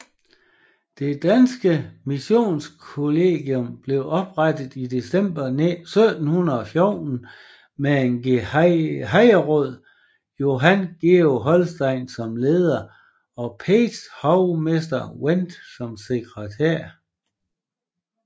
Det danske Missionskollegium blev oprettet i december 1714 med gehejmeråd Johan Georg Holstein som leder og pagehovmester Wendt som sekretær